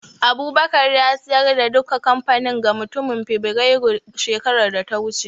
Abubakar ya siyar da duka kamfanin ga mutumin Fibirairun shekarar da ta wuce